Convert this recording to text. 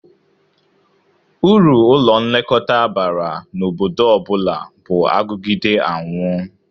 Uru ụlọ nlekọta bara n'obodo ọ bụla bụ agụgide anwụ